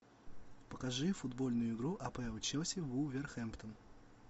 покажи футбольную игру апл челси вулверхэмптон